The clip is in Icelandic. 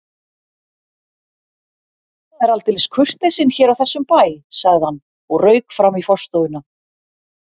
Það er aldeilis kurteisin hér á þessum bæ sagði hann og rauk fram í forstofuna.